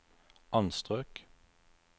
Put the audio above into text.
anstrøk